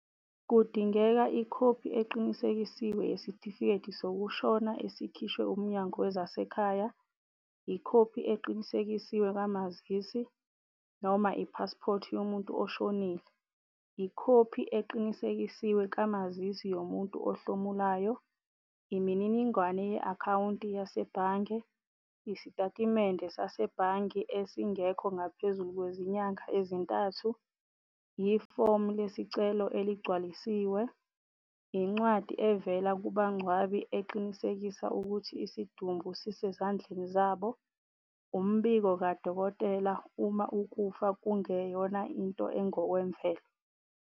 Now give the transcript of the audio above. Kudingeka ikhophi eqinisekisiwe yesitifiketi sokushona esikhishwe uMnyango wezaseKhaya, ikhophi eqinisekisiwe kamazisi, noma i-passport yomuntu oshonile, ikhophi eqinisekisiwe kamazisi yomuntu ohlomuloyo, imininingwane ye-akhawunti yasebhange, isitatimende sasebhange esingekho ngaphezulu kwezinyanga ezintathu, yi-form lesicelo eligcwalisiwe, incwadi evela kubangcwabi eqinisekisa ukuthi isidumbu sisezandleni zabo, umbiko kadokotela uma ukufa kungeyona into engokwemvelo.